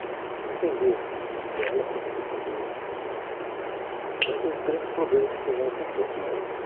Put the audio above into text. Precisa entender dela para você poder... Mas os grandes problemas que tem lá no servidor são esses.